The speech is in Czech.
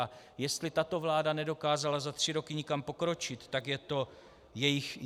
A jestli tato vláda nedokázala za tři roky někam pokročit, tak je to její chyba.